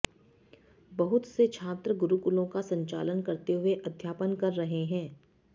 बहुत से छात्र गुरुकुलों का संचालन करते हुए अध्यापन कर रहे हैं